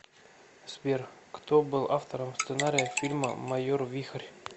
сбер кто был автором сценария фильма майор вихрь